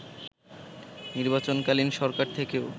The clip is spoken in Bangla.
নির্বাচনকালীন সরকার থেকেও